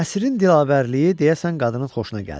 Nəsirin dilavərliyi deyəsən qadının xoşuna gəldi.